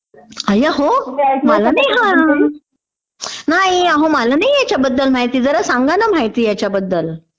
अय्या हो, मला नाही हा तुम्हाल नाही माहिती ping नाही मला माहिती ह्यच्याबद्दल, जरा सांगा ना माहिती ह्याच्याबद्दल...